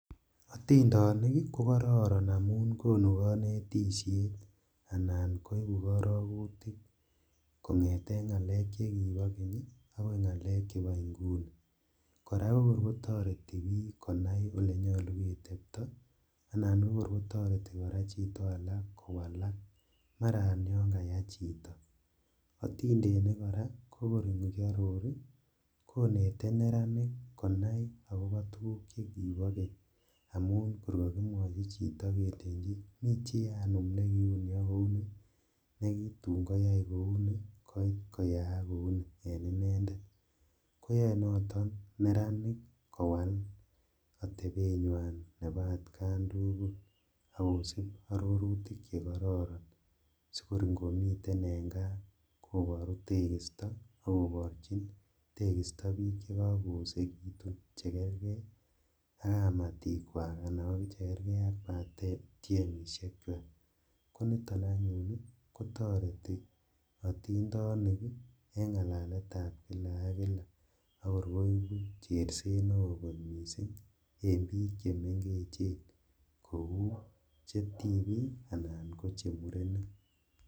Atindonik ko kororon amun konu konetisiet anan koibu karogutik kongete ngalek chekibo keny agoi ngalek chebo inguni. Kora ko kor kotareti konai olenyalu ketepto anan kotoreti chito kowalak. Mara yon kaya chito. Atindenik kora kokor ingiaror konete neratik konai agobo tuguk chekibokeny amun kor kakimwoi chito kelenji mi chi anum ne kiyai kouni, nekitun koyai kouni, nekiit koyaak kou ni en inendet. Koyae noto neranik kowal atepenywan nebo atkan tugul ak kosich arorutik che kororon, sikor angomiten en kaa kobaru tekisto ak kobarurchi tekisto biik che kakoosekitun che kerge ak kamatikwak anan biik chekerge ak batiemisiekywak. Koniton anyun kotoreti atindonik en ngalaletab kila ak kila, tor koibu cherset neo kot mising en biik che mengechen kou che tibik anan ko che murenik.